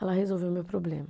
ela resolveu o meu problema.